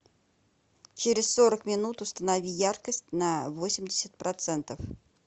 через сорок минут установи яркость на восемьдесят процентов